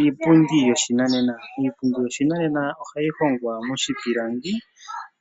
Iipundi yoshinanena. Iipundi yoshinanena ohayi hongwa moshipilangi